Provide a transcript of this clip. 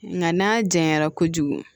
Nka n'a janyara kojugu